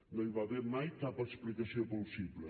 no hi va haver mai cap explicació plausible